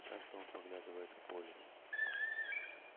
часто он поглядывает в поле